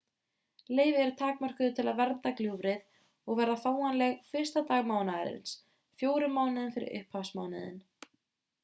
leyfi eru takmörkuð til að vernda gljúfrið og verða fáanleg 1. dag mánaðarins fjórum mánuðum fyrir upphafsmánuðinn